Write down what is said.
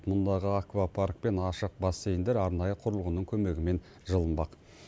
мұндағы аквапарк пен ашық бассейндер арнайы құрылғының көмегімен жылынбақ